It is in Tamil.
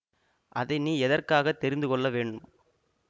அதை நீ எதற்காகத் தெரிந்து கொள்ள வேணும்